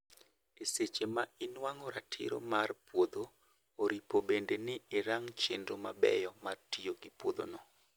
E seche ma inuang'o ratiro mar puodho, oripo bende ni irango chenro mabeyo mar tiyo gi puodho no